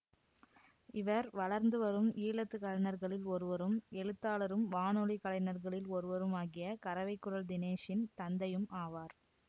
இவர் வளர்ந்துவரும் ஈழத்துகலைஞர்களில் ஒருவரும் எழுத்தாளரும் வானொலி கலைஞர்களில் ஒருவரும் ஆகிய கரவைக்குரல் தினேஷின் தந்தையும் ஆவார்